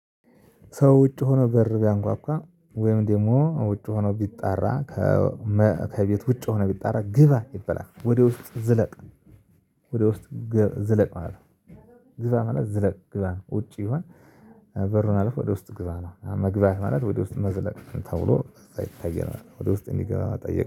ሰው ውጭ ሆኖ በር ቢያንኳኳ ወይም ደግሞ ውጭ ሆኖ ቢጣራ ከቤት ውጭ ሆኖ ቢጣራ ግባ ይበላል። ወደ ውስጥ ዝለቅ ወደ ውስጥ ዝለቅ ማለት ነው። ግባ ማለት ዝለቅ ግባ ነው። ውጪ ቢሆን በሩን አለፈህ ወደ ውስጥ ግባ ነው። መግባት ማለት ወደ ውስጥ መዝለቅ ተብሎ ይታያል ማለት ነው። ወደ ውስጥ እንዲገባ መጠየቀ